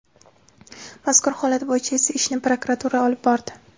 Mazkur holat bo‘yicha esa ishni prokuratura olib bordi.